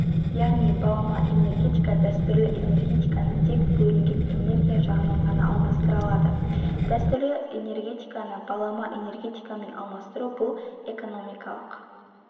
яғни балама энергетика дәстүрлі энергетиканы тек бөлінген энергия жағынан ғана алмастыра алады дәстүрлі энергетиканы балама энергетикамен алмастыру бұл экономикалық